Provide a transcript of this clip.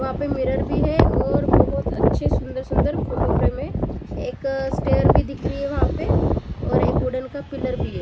वहाँ पे मिरर भी है और बहुत अच्छे सुंदर सुंदर फोटो फ्रेम है एक स्टेयर भी दिख रही है वहाँ पे और एक वुडन का पिलर भी है।